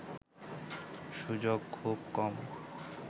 সুযোগ খুব কম